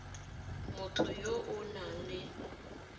motho yo o nang le